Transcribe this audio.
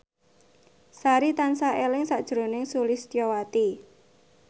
Sari tansah eling sakjroning Sulistyowati